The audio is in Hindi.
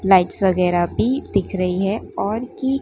लाइट्स वगैरह भी दिख रही है और की--